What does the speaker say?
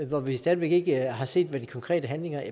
hvor vi stadig væk ikke har set hvad de konkrete handlinger